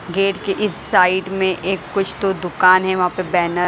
gate के इस side में एक कुछ तो दुकान है वहाँ पे बैनर --